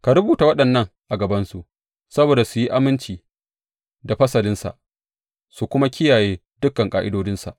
Ka rubuta waɗannan a gabansu saboda su yi aminci da fasalinsa su kuma kiyaye dukan ƙa’idodinsa.